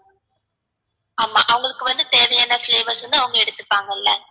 ஆமா, அவங்களுக்கு வந்து தேவையான flavours வந்து அவங்க எடுத்துப்பாங்கள்ள